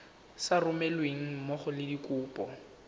sa romelweng mmogo le dikopo